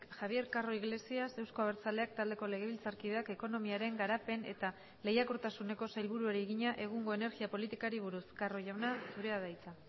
javier carro iglesias euzko abertzaleak taldeko legebiltzarkideak ekonomiaren garapen eta lehiakortasuneko sailburuari egina egungo energia politikari buruz carro jauna zurea da hitza